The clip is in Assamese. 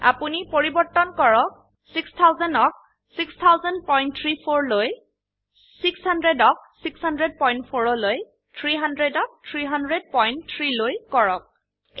আপোনি পৰিবৰ্তন কৰক ৬০০০ ক ৬০০০৩৪ লৈ ৬০০ ক ৬০০৪ লৈ 300 ক ৩০০৩ লৈ কৰক